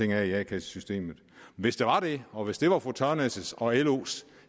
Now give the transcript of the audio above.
i a kasse systemet hvis der var det og hvis det var fru tørnæs og los